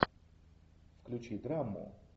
включи драму